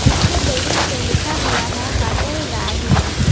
इसके बिल्डिंग पे लिखा हुआ है होटल राही।